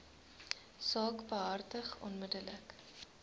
saak behartig onmiddellik